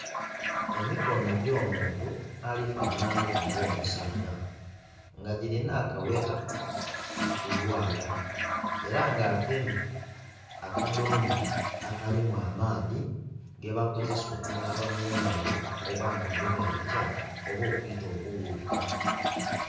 Emikono egy'omuntu alifanhanha nga ku nga musaadha nga giri nhakagheta kulwala era nga agemye akadhome akalimu amaadhi gebakozesa onhaba mungalo nga mulimu ebikyafu oba okwiita obughuka.